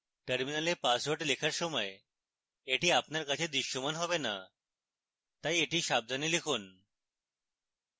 terminal password লেখার সময় এটি আমাদের কাছে দৃশ্যমান হবে না